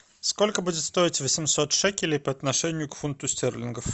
сколько будет стоить восемьсот шекелей по отношению к фунту стерлингов